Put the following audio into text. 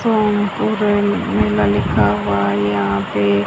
लिखा हुआ यहां पे --